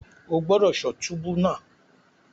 O gbọdọ ṣọ túbú náà!